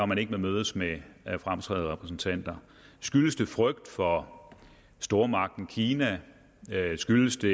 man ikke vil mødes med fremtrædende repræsentanter skyldes det frygt for stormagten kina skyldes det